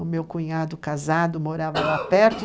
O meu cunhado casado morava lá perto.